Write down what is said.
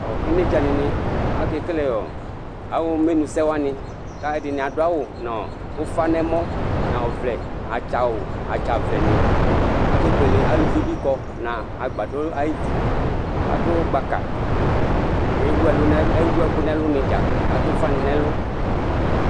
Inedza dini akekele awu emenu awani wani ku atani adu awu nu ufa nɛmɔ atsa awu atsa vlɛni kebuele aluvi bi kɔ adu gbaka ewu ɛku nu ɛlu nidza adu ufa nu nɛlu